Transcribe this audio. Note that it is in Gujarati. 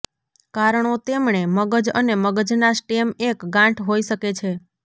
કારણો તેમણે મગજ અને મગજના સ્ટેમ એક ગાંઠ હોઈ શકે છે